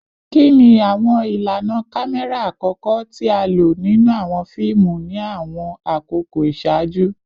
Kini awọn ilana kamẹra akọkọ ti a lo ninu awọn fiimu ni awọn akoko iṣaaju?